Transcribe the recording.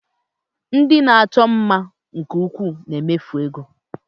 Ndị na-achọ mma nke ukwuu na-emefusị ego